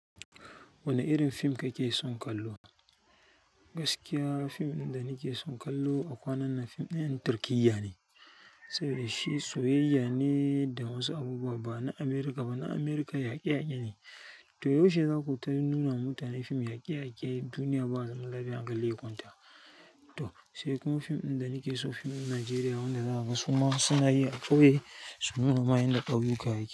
Wane irin fim kake son kallo? Gaskiya fim ɗin da nake son kallo a kwanan nan fim ɗin 'yan Turkiyya ne, saboda shi soyayya ne da wasu abubuwa ba na Amurka ba. Na Amurka yaƙe-yaƙe ne. To yaushe za ku tafi nuna mutane fim yaƙe-yaƙe duniya ba zaman lafiya hankali ya kwanta. To sai kuma fim ɗin da nake so fim ɗin Najeriya wanda za a gasu ma suna yi a ƙauye su nuna ma yanda ƙauyuka yake.